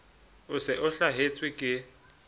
o se o hlahetswe ke